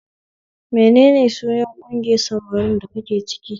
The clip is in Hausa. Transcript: Menene sunan ƙungiyar samarin da kake ciki?